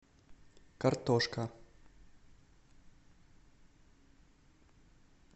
картошка